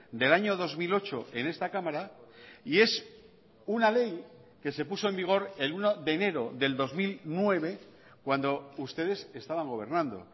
del año dos mil ocho en esta cámara y es una ley que se puso en vigor el uno de enero del dos mil nueve cuando ustedes estaban gobernando